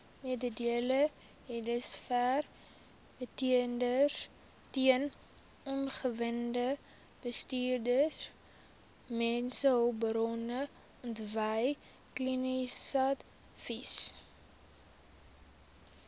mededingendheidsverbeteringsteun omgewingsbestuursteun mensehulpbronontwikkelingsadvies